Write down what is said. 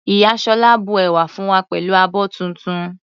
Ìyá Sola bu ẹ̀wà fún wa pẹ̀lú abọ́ tuntun.